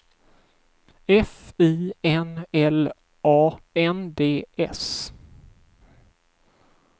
F I N L A N D S